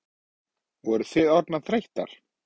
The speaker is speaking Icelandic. Voru þið orðnar þreyttar?